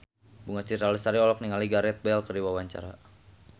Bunga Citra Lestari olohok ningali Gareth Bale keur diwawancara